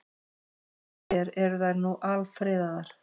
Sem betur fer eru þær nú alfriðaðar.